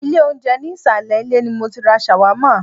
Ilé oúnjẹ ní ìsàlẹ̀ ilé ni mọ tí ra ṣàwámà.